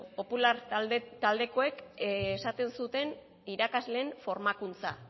popular taldekoek esaten zuen irakasleen formakuntza